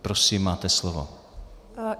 Prosím, máte slovo.